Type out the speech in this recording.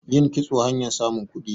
Yin kitso hanyan samun kudi ne.